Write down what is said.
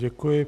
Děkuji.